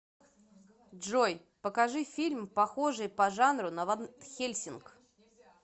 джой покажи фильм похожии по жанру на ванхельсинг